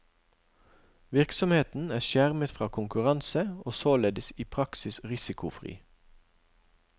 Virksomheten er skjermet fra konkurranse, og således i praksis risikofri.